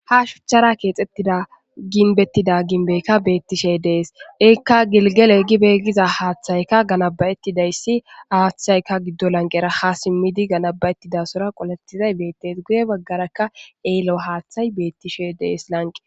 ha shuchchara keexxettida ginbettida ginbekka beettishe dees eekka gilgeley gibeeggiza haaththayka ganabayettidayssi haaththayka giddo lanqera ha simmidi ganaba7ettidasora qoletizay beettes guye baggarakka eello haaththay beettishe dees lanqe